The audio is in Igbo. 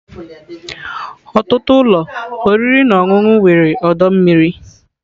Ọtụtụ ụlọ oriri na ọṅụṅụ nwere ọdọ mmiri.